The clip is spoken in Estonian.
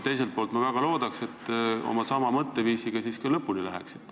Teisalt, ma väga loodan, et te oma samasuguse mõtteviisiga lõpuni lähete.